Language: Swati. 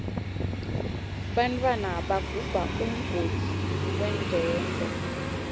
bantfwana bagubha umgodzi wenkento